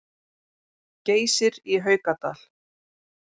Geysir í Haukadal.